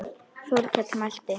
Þórkell mælti